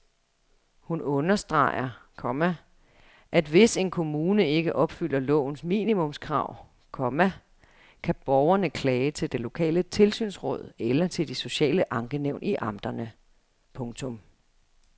Hun understreger, komma at hvis en kommune ikke opfylder lovens minimumskrav, komma kan borgerne klage til det lokale tilsynsråd eller til de sociale ankenævn i amterne. punktum